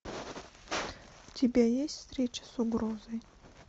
у тебя есть встреча с угрозой